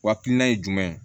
Walina ye jumɛn ye